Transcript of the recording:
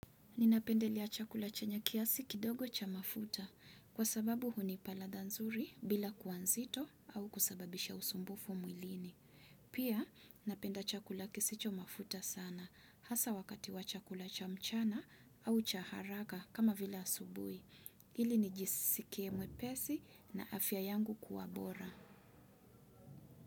Ninapendelea chakula chenye kiasi kidogo cha mafuta kwa sababu hunipa ladha nzuri bila kuwa nzito au kusababisha usumbufu mwilini. Pia napenda chakula kisicho mafuta sana hasa wakati wa chakula cha mchana au cha haraka kama vila asubuhi. Ili nijisikie mwepesi na afya yangu kuwa bora.